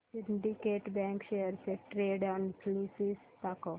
Syndicate bank shares चे trend analysis दाखव